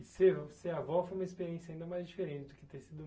E ser, ser avó foi uma experiência ainda mais diferente do que ter sido